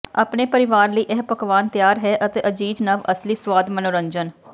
ਆਪਣੇ ਪਰਿਵਾਰ ਲਈ ਇਹ ਪਕਵਾਨ ਤਿਆਰ ਹੈ ਅਤੇ ਅਜ਼ੀਜ਼ ਨਵ ਅਸਲੀ ਸੁਆਦ ਮਨੋਰੰਜਨ